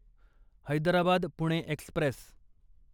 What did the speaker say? Hyderabad Pune Express